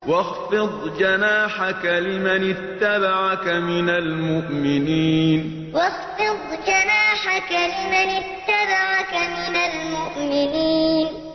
وَاخْفِضْ جَنَاحَكَ لِمَنِ اتَّبَعَكَ مِنَ الْمُؤْمِنِينَ وَاخْفِضْ جَنَاحَكَ لِمَنِ اتَّبَعَكَ مِنَ الْمُؤْمِنِينَ